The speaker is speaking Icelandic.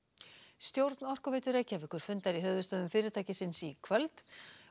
stjórn Orkuveitu Reykjavíkur fundar í höfuðstöðvum fyrirtækisins í kvöld